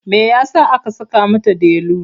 Me ya sa aka saka mata Delu?